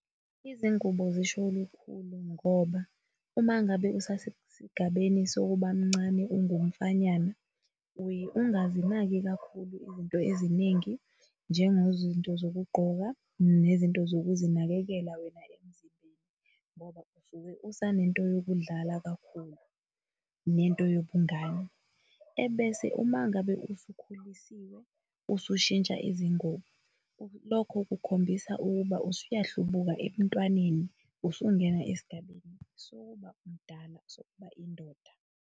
Izingubo zisho olukhulu ngoba uma ngabe usasesigabeni sokuba mncane ungumfanyana, uye ungazinaki kakhulu izinto eziningi, njengezinto zokugqoka nezinto zokuzinakekela wena emzimbeni, ngoba usuke usanento yokudlala kakhulu nento yobungane, ebese uma ngabe usukhulisiwe, usushintsha izingubo lokho kukhombisa ukuba usuyahlubuka ebuntwaneni, usungena esigabeni sokuthi umdala sokuba indoda.